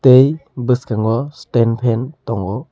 tei boskango stand fan tango.